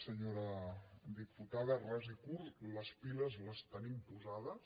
senyora diputada ras i curt les piles les tenim posades